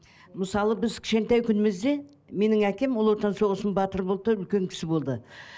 мысалы біз кішкентай күнімізде менің әкем ұлы отан соғысының батыры болды да үлкен кісі болды